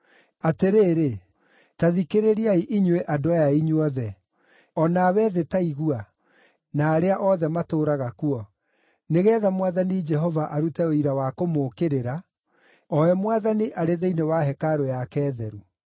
Atĩrĩrĩ, ta thikĩrĩriai inyuĩ andũ aya inyuothe; o nawe thĩ ta igua, na arĩa othe matũũraga kuo, nĩgeetha Mwathani Jehova arute ũira wa kũmũũkĩrĩra, o we Mwathani arĩ thĩinĩ wa hekarũ yake theru.